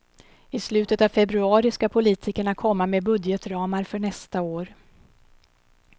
I slutet av februari ska politikerna komma med budgetramar för nästa år.